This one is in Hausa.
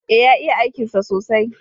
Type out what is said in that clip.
E, ya iya aikinsa sosai.